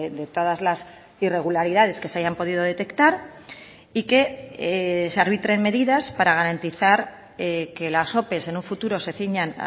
de todas las irregularidades que se hayan podido detectar y que se arbitren medidas para garantizar que las ope en un futuro se ciñan